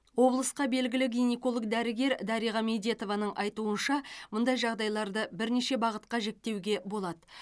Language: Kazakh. облысқа белгілі гинеколог дәрігер дариға медетованың айтуынша мұндай жағдайларды бірнеше бағытқа жіктеуге болады